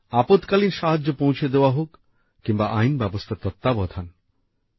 আপৎকালীন সাহায্য পৌঁছে দেওয়া হোক কিংবা আইন ব্যবস্থার তত্ত্বাবধান